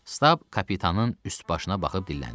Stab kapitanın üst başına baxıb dilləndi.